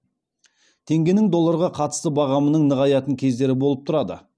теңгенің долларға қатысты бағамының нығаятын кездері болып тұрады